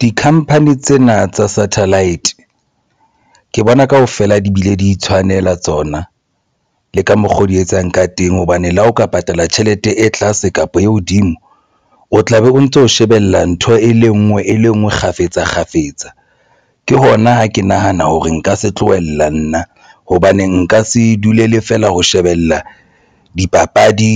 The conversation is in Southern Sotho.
Di-company tsena tsa satellite ke bona kaofela di bile di tshwanela tsona le ka mokgo di etsang ka teng, hobane le ha o ka patala tjhelete e tlase kapa e hodimo, o tla be o ntso shebella ntho e le ngwe e le ngwe kgafetsa kgafetsa, ke hona ho ke nahana hore nka se tlohella nna hobane nka se dule feela ho shebella dipapadi